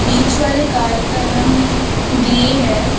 बीच वाले कार का रंग ग्रे है।